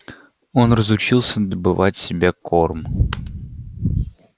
он разучился добывать себе корм